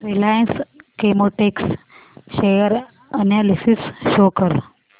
Reliance Chemotex share analysis show कर